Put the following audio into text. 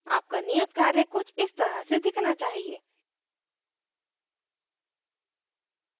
आपका नियतकार्य कुछ इस तरह से दिखना चाहिए